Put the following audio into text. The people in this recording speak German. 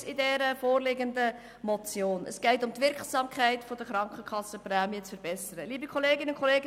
Bei der vorliegenden Motion geht es darum, die Wirksamkeit der Prämienverbilligungen zu verbessern.